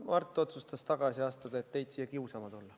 Mart otsustas tagasi astuda, et teid siia kiusama tulla.